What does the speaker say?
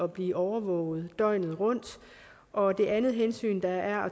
blive overvåget døgnet rundt og det andet hensyn der er